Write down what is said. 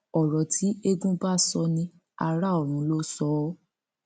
ọrọ tí eégún bá sọ ní ara ọrun ló sọ ọ